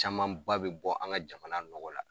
Camanba bɛ bɔ an ka jamana nɔgɔ la